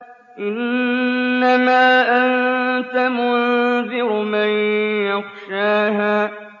إِنَّمَا أَنتَ مُنذِرُ مَن يَخْشَاهَا